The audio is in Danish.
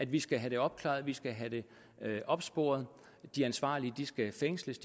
vi skal have det opklaret vi skal have det opsporet og de ansvarlige skal fængsles